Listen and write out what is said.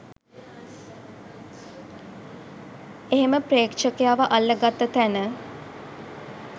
එහෙම ප්‍රේක්ෂකයව අල්ල ගත්ත තැන